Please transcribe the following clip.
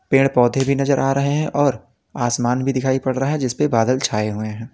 पेड़ पौधे भी नजर आ रहे हैं और आसमान भी दिखाई पड़ रहा है जिस पे बादल छाए हुए हैं।